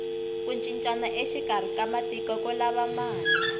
ku cincana exikarhi ka matiko ku lava mali